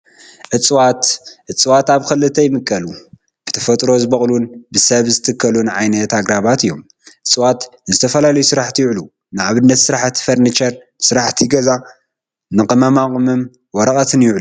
እፀዋት፡- እፀዋት ኣብ ክልተ ይምቀሉ፡፡ ብተፈጥሮ ዝበቑሉን ብሰብ ዝትከሉን ዓይነት ኣግራባት እዩም፡፡ እፀዋት ንዝተፈላለዩ ስራሕቲ ይውዕሉ፡፡ ንኣብነት ንስራሕቲ ፈርኒቸር፣ ንስራሕቲ ገዛን ንቅመማ ወረቐትን ይውዕሉ፡፡